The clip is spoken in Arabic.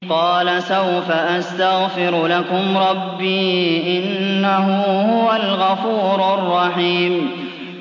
قَالَ سَوْفَ أَسْتَغْفِرُ لَكُمْ رَبِّي ۖ إِنَّهُ هُوَ الْغَفُورُ الرَّحِيمُ